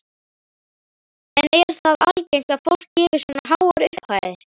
En er það algengt að fólk gefi svona háar upphæðir?